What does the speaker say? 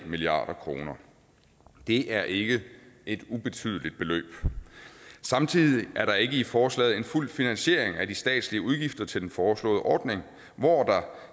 milliard kroner det er ikke et ubetydeligt beløb samtidig er der ikke i forslaget en fuld finansiering af de statslige udgifter til den foreslåede ordning hvor der